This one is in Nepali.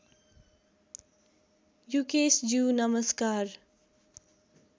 युकेशज्यू नमस्कार